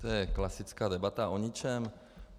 To je klasická debata o ničem.